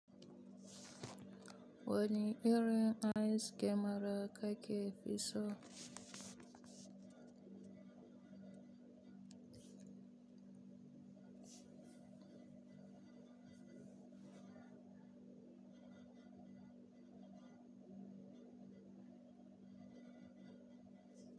Wani irin ice cream ka ke fi so?